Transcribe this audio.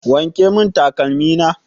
Wanke mun takalmi na!